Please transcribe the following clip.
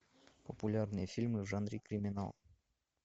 популярные фильмы в жанре криминал